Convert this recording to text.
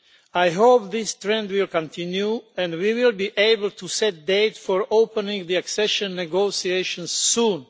I hope this trend will continue and that we will be able to set a date for opening the accession negotiations soon.